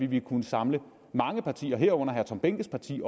vil kunne samle mange partier herunder herre tom behnkes parti